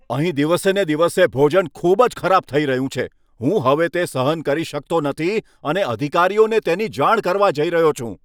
અહીં દિવસેને દિવસે ભોજન ખૂબ જ ખરાબ થઈ રહ્યું છે. હું હવે તે સહન કરી શકતો નથી અને અધિકારીઓને તેની જાણ કરવા જઈ રહ્યો છું.